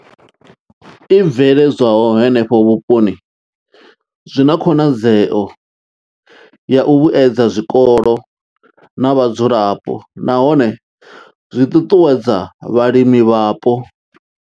I bveledzwaho henefho vhuponi zwi na khonadzeo ya u vhuedza zwikolo na vhadzulapo nahone zwi ṱuṱuwedza vhalimi hapo.